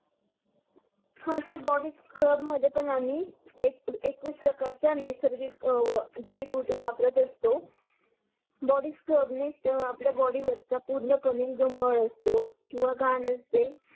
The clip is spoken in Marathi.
हा सर बॉडी स्क्रब मध्ये पण आम्ही एकवसी प्रकारच्या नैसर्गिक जडी बुटी वापरत असतो बॉडी स्क्रबणी आपल्या बॉडी वरच्या पूर्ण कामी जो मळ असतो किवा घान असते